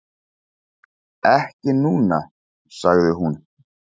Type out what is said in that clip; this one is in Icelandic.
"""Ekki núna, sagði hún."""